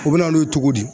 U bɛ na n'o ye cogo di